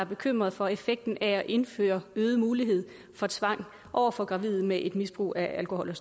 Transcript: bekymring for effekten af at indføre øget mulighed for tvang over for gravide med et misbrug af alkohol